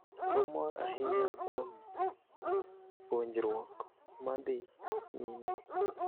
Wamor ahinya kuom puonjruok ma dhi nyime.